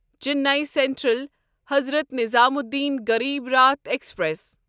Chennai central Hazrat Nizamuddin Garib Rath express